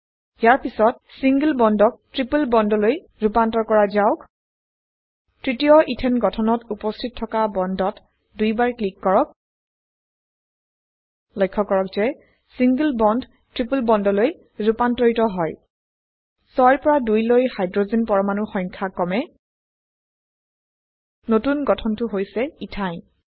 ইয়াৰ পিছত চিংগল একক বন্ডক ত্ৰিপল বন্ডলৈ ৰুপান্তৰ কৰা যাওক তৃতীয় এথানে গঠনত উপস্হিত থকা বন্ডত দুইবাৰ ক্লিক কৰক লক্ষ্য কৰক যে ছিংলে বন্ড ট্ৰিপল বন্ডলৈ ৰুপান্তৰিত হয় 6 ৰ পৰা 2 লৈ হাইড্ৰোজেন পৰমাণুৰ সংখ্যা কমে নতুন গঠনটো হৈছে ইথাইনে